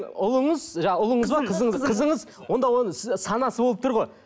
ұлыңыз жаңа ұлыңыз ба қызыңыз онда оның санасы болып тұр ғой